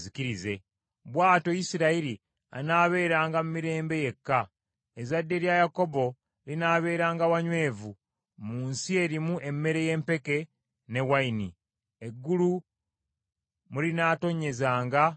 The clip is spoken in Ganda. Bw’atyo Isirayiri anaabeeranga mu mirembe yekka, ezzadde lya Yakobo linaabeeranga wanywevu, mu nsi erimu emmere y’empeke ne wayini, eggulu mwe linaatonnyezanga omusulo.